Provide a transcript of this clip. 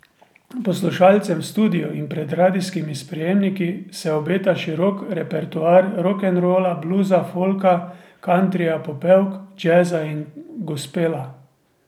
Poslušalcem v studiu in pred radijskimi sprejemniki se obeta širok repertoar rokenrola, bluza, folka, kantrija, popevk, džeza in gospela.